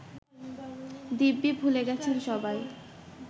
দিব্যি ভুলে গেছে সবাই